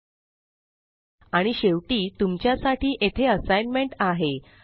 helplibreofficeorgमठ आणि शेवटी तुमच्या साठी येथे असाइनमेंट आहे